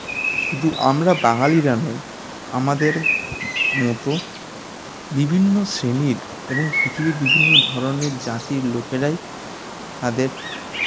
শুধু আমরা বাঙালিরা নই আমাদের মতো বিভিন্ন শ্রেণীর এবং পৃথিবীর বিভিন্ন ধরনের জাতীর লোকেরাই তাদের